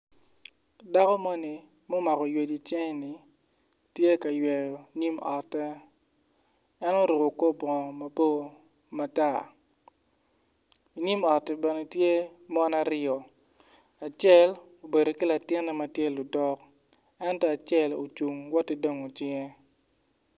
Dako moni ma omako oywec i cinge-ni ti ka yweyo nyim otte en oruku kor bongo mabor matar inyim otti bene tye mon ariyo acel obedo ki latinne ma tye ludok en acel ocung woti dongo cingge